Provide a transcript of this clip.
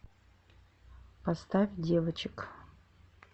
поставь девочек